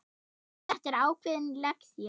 Þetta var ákveðin lexía.